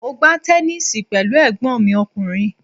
Mo gbá tẹnísíì pẹ̀lú ẹ̀gbọ́n mi ọkùnrin